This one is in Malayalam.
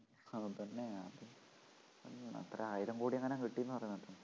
അവൻ തന്നെയാ എത്ര ആയിരം കോടി എങ്ങാനും കിട്ടീന്നു പറയുന്ന കേട്ടു